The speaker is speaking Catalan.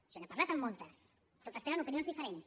jo n’he parlat amb moltes totes tenen opinions diferents